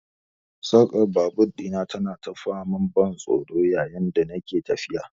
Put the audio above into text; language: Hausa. Sarkar babur dina tana ta faman ban tsoro yayin da nake tafiya.